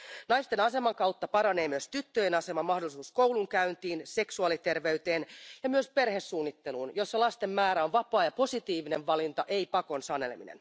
Naisten aseman kautta paranee myös tyttöjen asema, mahdollisuus koulunkäyntiin, seksuaaliterveyteen ja myös perhesuunnitteluun, jossa lasten määrä on vapaa ja positiivinen valinta, ei pakon sanelema.